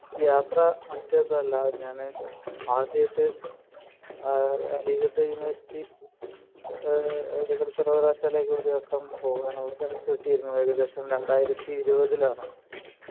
യാത്ര മറ്റേ ഇതല്ല ഞാന് ആദ്യായിട്ട് ആഹ് അലിഗഡ് യൂണിവേഴ്സിറ്റി ആഹ് അലിഗഡ് സർവകലാശാലയിലേക്ക് ഒരു വട്ടം പോകാനുള്ള ചാൻസ് കിട്ടിയിരുന്നു ഏകദേശം രണ്ടായിരത്തി ഇരുപതിൽ ആണ് മ്മ്ഹ്